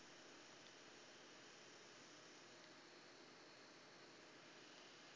makuya